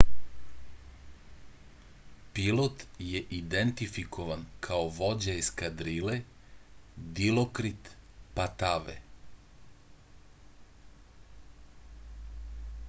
pilot je identifikovan kao vođa eskadrile dilokrit patave